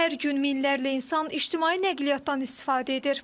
Hər gün minlərlə insan ictimai nəqliyyatdan istifadə edir.